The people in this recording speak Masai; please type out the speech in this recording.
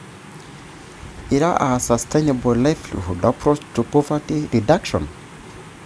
ire aaa Sustainable Livelihood Approach to Poverty Reduction.